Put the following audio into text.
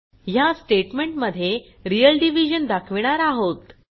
ह्या स्टेटमेंटमध्ये real division दाखविणार आहोत